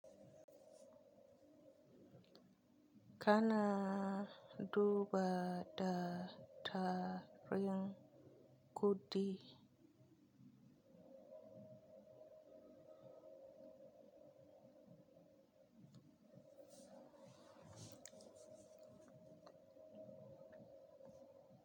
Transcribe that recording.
Kana duba da tarin kuɗi.